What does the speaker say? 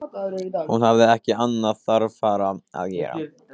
Hún hafði ekki annað þarfara að gera.